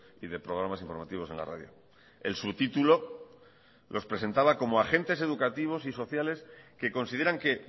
y de programas informativos en la radio el subtítulo los presentaba como agentes educativos y sociales que consideran que